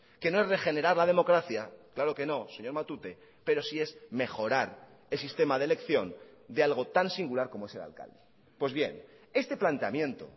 que no es regenerar la democracia claro que no señor matute pero sí es mejorar el sistema de elección de algo tan singular como es el alcalde pues bien este planteamiento